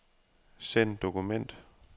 Send dokument.